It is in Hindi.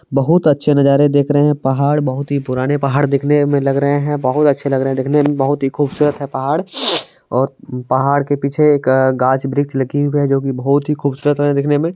बहुत अच्छे नजारे देख रहे हैं पहाड़ बहुत ही पुराने पहाड़ दिखने मे लग रहे हैं बहुत अच्छे लग रहे है दिखने मे बहुत ही खुबसूरत है पहाड़ और पहाड के पीछे एक घास वृक्ष लगी है जोकि बहुत ही खुबसूरत लग रहा हैं दिखने मे